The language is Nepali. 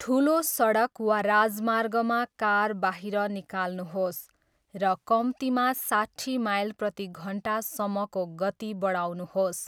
ठुलो सडक वा राजमार्गमा कार बाहिर निकाल्नुहोस् र कम्तीमा साट्ठी माइल प्रति घन्टासम्मको गति बढाउनुहोस्।